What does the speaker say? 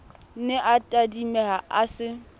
ne a tadimeha a se